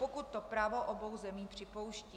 Pokud to právo obou zemí připouští.